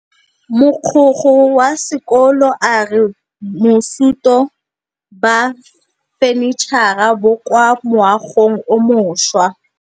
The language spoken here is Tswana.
Mogokgo wa sekolo a re bosutô ba fanitšhara bo kwa moagong o mošwa.